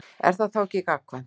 Er það þá ekki gagnkvæmt?